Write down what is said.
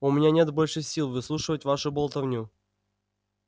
у меня нет больше сил выслушивать вашу болтовню